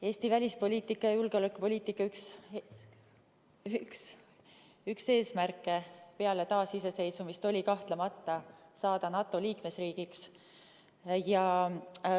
Eesti välispoliitika ja julgeolekupoliitika üks eesmärke peale taasiseseisvumist oli kahtlemata saada NATO liikmesriigiks.